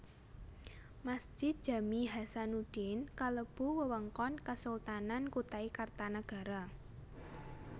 Masjid Jami Hasanuddin kalebu wewengkon Kesultanan Kutai Kartanagara